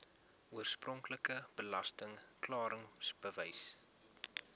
oorspronklike belasting klaringsbewys